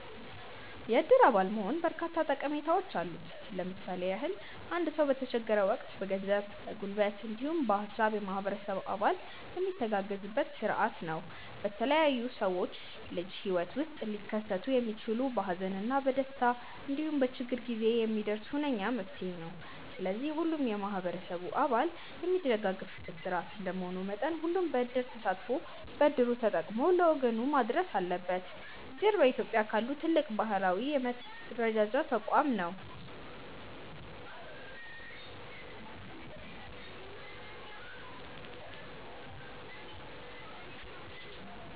የእድር አባል መሆን በርካታ ጠቀሜታዎች አሉት። ለምሳሌ ያህል አንድ ሰው በተቸገረ ወቅት በገንዘብ፣ በጉልበት እንዲሁም በሃሳብ የማህበረሰብ አባል የሚተጋገዝበት ስርዓት ነው። በተለያዩ የሰው ልጅ የህይወት ውስጥ ሊከሰቱ የሚችሉ በሀዘን እና በደስታ እንዲሁም በችግር ጊዜ የሚደርስ ሁነኛ መፍትሔ ነው። ስለዚህም ሁሉም የማህበረሰብ አባል የሚደጋገፍበት ስርዓት እንደመሆኑ መጠን ሁሉም በዕድር ተሳትፎ በእድሉ ተጠቅሞ ለወገኑ መድረስ አለበት። እድር በኢትዮጵያ ካሉ ትልቅ ባህላዊ የመረዳጃ ተቋም ነው።